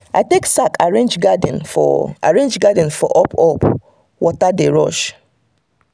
i take sack arrange garden for arrange garden for up-up where water dey rush.